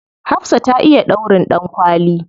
Hafsah ta iya ɗaurin ɗankwali.